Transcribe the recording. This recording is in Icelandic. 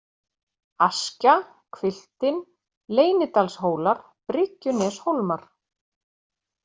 Askja, Hvilftin, Leynidalshólar, Bryggjuneshólmar